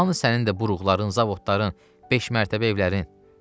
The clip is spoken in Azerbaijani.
Hamı sənin də buruğların, zavodların, beşmərtəbə evlərin.